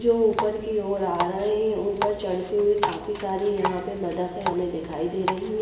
जो ऊपर की और आ रहे है ऊपर चदते हुए काफी सारी बतखे हमे दिखाई दे रही है।